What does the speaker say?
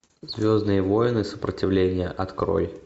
звездные войны сопротивление открой